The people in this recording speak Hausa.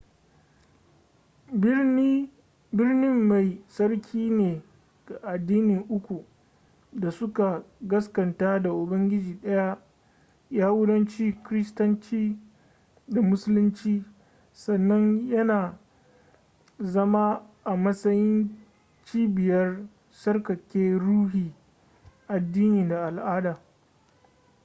birnin mai tsarki ne ga addinai uku da suka gaskanta da ubangiji daya yahudanci kiristanci da musulunci sannan yana zama a matsayin cibiyar tsarkake ruhi addini da al'ada